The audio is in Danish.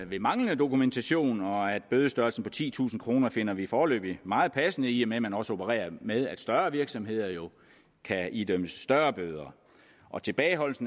ved manglende dokumentation og bødestørrelsen på titusind kroner finder vi foreløbig meget passende i og med at man også opererer med at større virksomheder jo kan idømmes større bøder tilbageholdelse